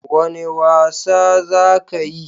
Wane wasa za ka yi?